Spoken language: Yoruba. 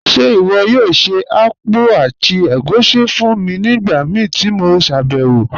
Ṣe iwọ yoo ṣe akpụ̀ àti ègúṣí fún mi nigbamíí ti mo ṣabẹwo?